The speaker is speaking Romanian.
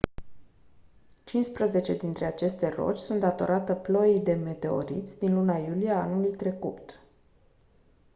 cincisprezece dintre aceste roci sunt datorate ploii de meteoriți din luna iulie a anului trecut